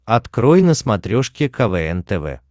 открой на смотрешке квн тв